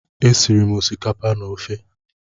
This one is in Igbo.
E siri m osikapa na ofe.